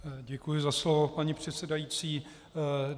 Děkuji za slovo, paní předsedající.